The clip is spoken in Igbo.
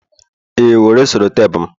ee, were sellotape m